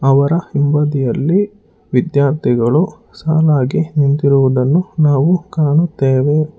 ಅವರ ಹಿಂಬದಿಯಲ್ಲಿ ವಿದ್ಯಾರ್ಥಿಗಳು ಸಾಲಾಗಿ ನಿಂತಿರುವುದನ್ನು ನಾವು ಕಾಣುತ್ತೆವೆ.